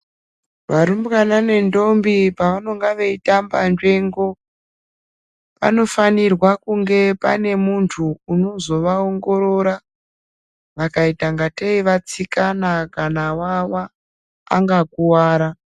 Varumbwana nendombi pavanonga veitamba nzvengo, panofanirwa kunge pane muntu unozovaongorora vakaita ngatei vatsikana kana wawa angakuwara.